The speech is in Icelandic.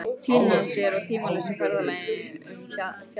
Týna sér á tímalausa ferðalagi um fjalir og stiga.